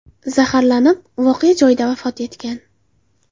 zaharlanib, voqea joyida vafot etgan.